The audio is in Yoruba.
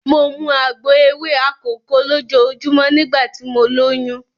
Mo mu àgbo ewé akòko lójoojúmọ́ nígbà tí mo lóyún.